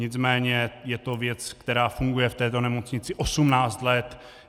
Nicméně je to věc, která funguje v této nemocnici 18 let.